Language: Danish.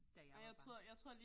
Da jeg var barn